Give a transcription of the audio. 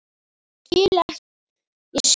Ég skal ekki missa þessa vinnustofu skrifar Gerður.